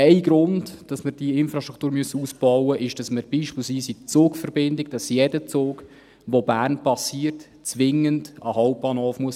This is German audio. Ein Grund, weshalb wir diese Infrastruktur ausbauen müssen, ist, beispielsweise bei der Zugverbindung, dass jeder Zug, der Bern passiert, zwingend an den Hauptbahnhof fahren muss.